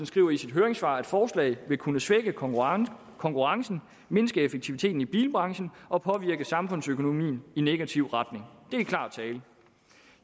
skriver i sit høringssvar at forslaget vil kunne svække konkurrencen konkurrencen mindske effektiviteten i bilbranchen og påvirke samfundsøkonomien i negativ retning det er klar tale